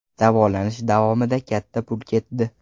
Davolanish davomida katta pul ketdi.